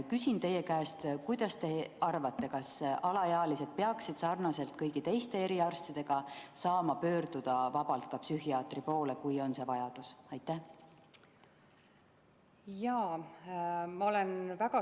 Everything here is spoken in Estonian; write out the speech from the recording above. Mida te arvate, kas alaealised peaksid samamoodi nagu kõigi teiste eriarstide poole saama vabalt pöörduda ka psühhiaatri poole, kui on see vajadus?